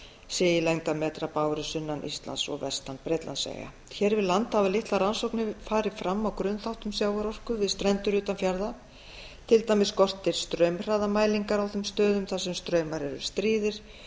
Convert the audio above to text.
sé í lengdarmetra báru sunnan íslands og vestan bretlandseyja hér við land hafa litlar rannsóknir farið fram á grunnþáttum sjávarorku við strendur utan fjarða á skortir straumhraðamælingar á þeim stöðum þar sem straumar eru stríðir